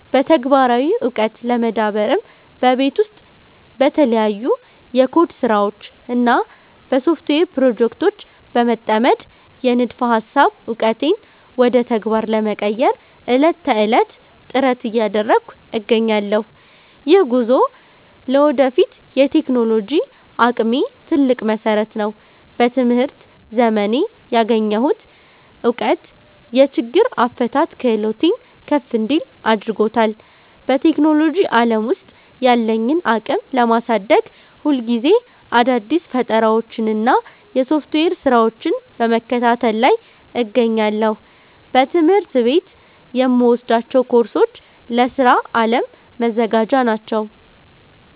በተግባራዊ ዕውቀት ለመዳበርም በቤት ውስጥ በተለያዩ የኮድ ስራዎች እና በሶፍትዌር ፕሮጀክቶች በመጠመድ፣ የንድፈ ሃሳብ ዕውቀቴን ወደ ተግባር ለመቀየር ዕለት ተዕለት ጥረት እያደረግኩ እገኛለሁ። ይህ ጉዞ ለወደፊት የቴክኖሎጂ አቅሜ ትልቅ መሰረት ነው። በትምህርት ዘመኔ ያገኘሁት እውቀት የችግር አፈታት ክህሎቴን ከፍ እንዲል አድርጎታል። በቴክኖሎጂ ዓለም ውስጥ ያለኝን አቅም ለማሳደግ፣ ሁልጊዜ አዳዲስ ፈጠራዎችንና የሶፍትዌር ስራዎችን በመከታተል ላይ እገኛለሁ። በትምህርት ቤት የምወስዳቸው ኮርሶች ለስራ ዓለም መዘጋጃ ናቸው